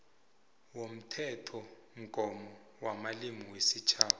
womthethomgomo wamalimi wesitjhaba